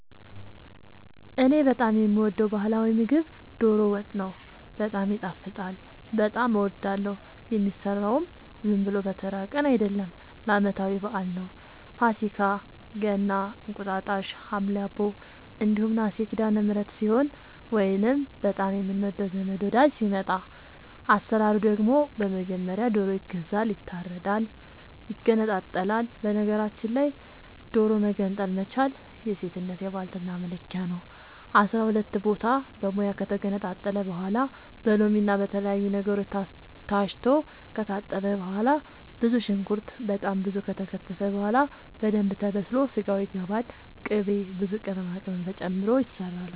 እኔ በጣም የምወደው በህላዊ ምግብ ዶሮ ወጥ ነው። በጣም ይጣፍጣል በጣም አወዳለሁ። የሚሰራውም ዝም ብሎ በተራ ቀን አይደለም ለአመታዊ በአል ነው። ፋሲካ ገና እንቁጣጣሽ ሀምሌ አቦ እንዲሁም ነሀሴ ሲዳለምህረት ሲሆን ወይንም በጣም የምንወደው ዘመድ ወዳጅ ሲመጣ። አሰራሩ ደግሞ በመጀመሪያ ዶሮ ይገዛል ይታረዳል ይገነጣጠላል በነገራችል ላይ ዶሮ መገንጠል መቻል የሴትነት የባልትና መለኪያ ነው። አስራሁለት ቦታ በሙያ ከተገነጣጠለ በኋላ በሎምና በተለያዩ ነገሮች ታስቶ ከታጠበ በኋላ ብዙ ሽንኩርት በጣም ብዙ ከተከተፈ በኋላ በደንብ ተበስሎ ስጋው ይገባል ቅቤ ብዙ ቅመማ ቅመም ተጨምሮ ይሰራል